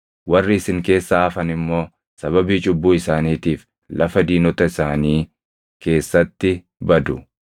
Warri isin keessaa hafan immoo sababii cubbuu isaaniitiif lafa diinota isaanii keessatti badu; sababii cubbuu abbootii isaaniitiinis ni badu.